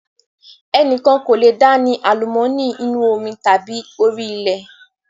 Ẹnikan kò lé dá ni àlùmọ́ọ́nì inú omi tàbí orí ilẹ̀